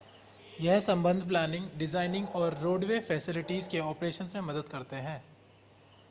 यह संबंध planning designing और रोडवे फ़ैसिलिटीज़ के ऑपरेशन्स में मदद करते हैं